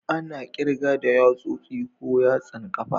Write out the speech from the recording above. Ana kirga da yatsosi ko yatsan kafa.